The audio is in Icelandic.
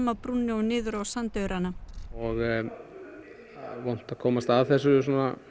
af brúnni og niður á sandaurana og vont að komast að þessu